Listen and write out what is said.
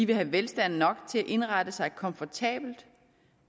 vil være velstand nok til at indrette sig komfortabelt